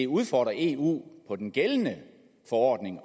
udfordre eu på den gældende forordning